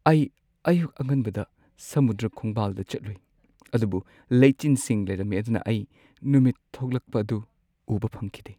ꯑꯩ ꯑꯌꯨꯛ ꯑꯉꯟꯕꯗ ꯁꯃꯨꯗ꯭ꯔ ꯈꯣꯡꯕꯥꯜꯗ ꯆꯠꯂꯨꯏ, ꯑꯗꯨꯕꯨ ꯂꯩꯆꯤꯟꯁꯤꯡ ꯂꯩꯔꯝꯃꯤ ꯑꯗꯨꯅ ꯑꯩ ꯅꯨꯃꯤꯠ ꯊꯣꯛꯂꯛꯄ ꯑꯗꯨ ꯎꯕ ꯐꯪꯈꯤꯗꯦ꯫